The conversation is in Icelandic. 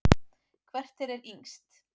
Hvert þeirra er yngst?